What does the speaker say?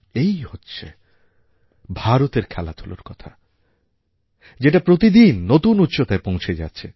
এই হচ্ছে ভারতের খেলাধূলার কথা যেটা প্রতিদিন নতুন উচ্চতায় পৌঁছে যাচ্ছে